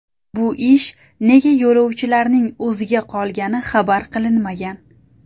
Bu ish nega yo‘lovchilarning o‘ziga qolgani xabar qilinmagan.